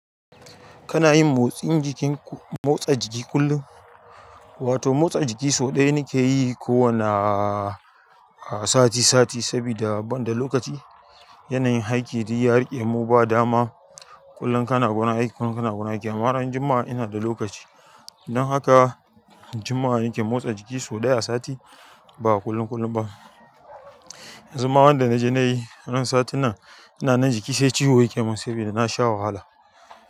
Kana yin motsin jikin ku- motsa jiki kullum? Wato motsa jiki sau ɗaya ni ke yi kowane, a, sati sati sabida ban da lokaci. Yanayin aiki duk ya riƙe mu ba dama. Kullum kana gurin aiki, kullum kana gurin aiki. Amma ran juma'a ina da lokaci. Don haka juma'a ni ke motsa jiki sau ɗaya a sati, ba kullun kullum ba. Yanzu ma wanda na je na yi ran sati nan, ina nan jiki sai ciwo ya ke mun sabida na sha wahala.